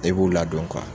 E b'u ladon